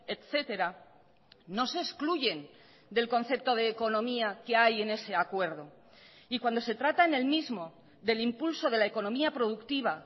etcétera no se excluyen del concepto de economía que hay en ese acuerdo y cuando se trata en el mismo del impulso de la economía productiva